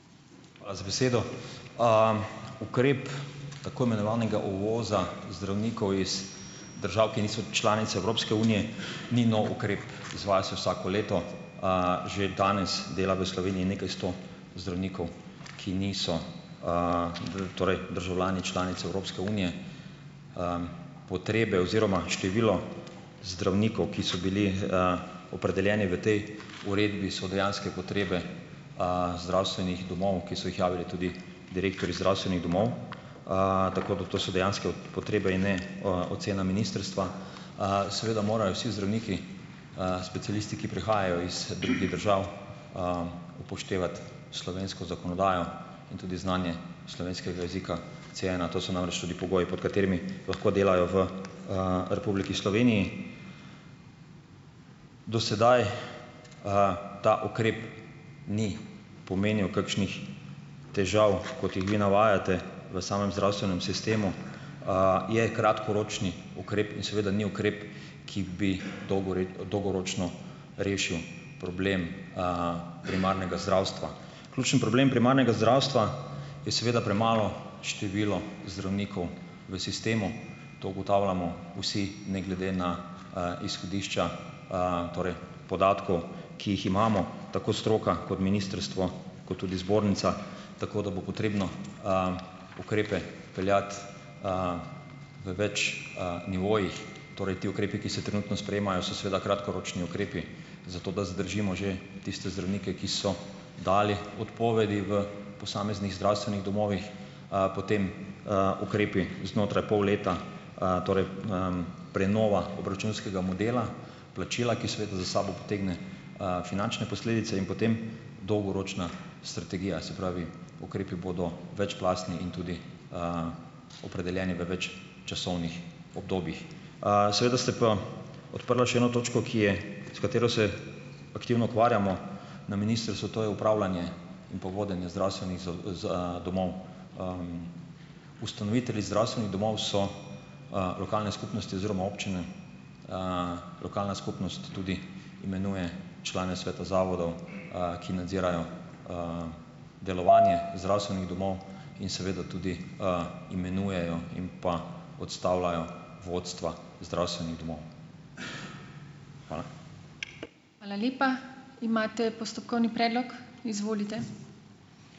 Hvala za besedo. Ukrep tako imenovanega uvoza zdravnikov iz držav, ki niso članice Evropske unije, ni nov ukrep, izvaja se vsako leto. Že danes dela v Sloveniji nekaj sto zdravnikov, ki niso, torej državljani članic Evropske unije. Potrebe oziroma število zdravnikov, ki so bili, opredeljeni v tej uredbi, so dejanske potrebe, zdravstvenih domov, ki so jih javili tudi direktorji zdravstvenih domov. Tako da, to so dejanske potrebe in ne, ocena ministrstva. Seveda morajo vsi zdravniki, specialisti, ki prihajajo iz drugih držav, upoštevati slovensko zakonodajo in tudi znanje slovenskega jezika Cena, to so namreč tudi pogoji, pod katerimi lahko delajo v, Republiki Sloveniji. Do sedaj, ta ukrep ni pomenil kakšnih težav, kot jih vi navajate, v samem zdravstvenem sistemu. Je kratkoročni ukrep in seveda ni ukrep, ki bi dolgoročno rešil problem, primarnega zdravstva. Ključni problem primarnega zdravstva je seveda premalo število zdravnikov v sistemu. To ugotavljamo vsi, ne glede na, izhodišča, torej podatkov, ki jih imamo - tako stroka, kot ministrstvo, kot tudi zbornica, tako da bo potrebno, ukrepe peljati, v več, nivojih. Torej ti ukrepi, ki se trenutno sprejemajo, so seveda kratkoročni ukrepi, zato da zadržimo že tiste zdravnike, ki so dali odpovedi v posameznih zdravstvenih domovih, potem, ukrepi znotraj pol leta, torej, prenova obračunskega modela, plačila, ki seveda za sabo potegne, finančne posledice, in potem dolgoročna strategija, se pravi, ukrepi bodo večplastni in tudi, opredeljeni v več časovnih obdobjih. Seveda ste pa odprla še eno točko, ki je, s katero se aktivno ukvarjamo na ministrstvu, to je upravljanje in pa vodenje zdravstvenih domov. Ustanovitelji zdravstvenih domov so, lokalne skupnosti oziroma občine, lokalna skupnost tudi imenuje člane sveta zavodov, ki nadzirajo delovanje zdravstvenih domov in seveda tudi, imenujejo in pa odstavljajo vodstva zdravstvenih domov. Hvala.